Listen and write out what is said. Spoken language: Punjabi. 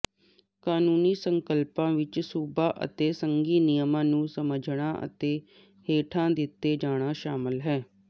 ਕਾਨੂੰਨੀ ਸੰਕਲਪਾਂ ਵਿੱਚ ਸੂਬਾ ਅਤੇ ਸੰਘੀ ਨਿਯਮਾਂ ਨੂੰ ਸਮਝਣਾ ਅਤੇ ਹੇਠਾਂ ਦਿੱਤੇ ਜਾਣਾ ਸ਼ਾਮਲ ਹੈ